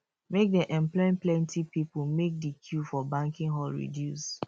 make dem employ plenty pipo make di queue for banking hall reduce